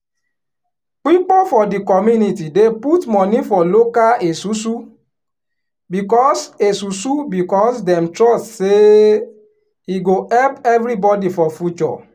pipo for di community dey put money for local esusu becos esusu becos dem trust say e go help everybody for future.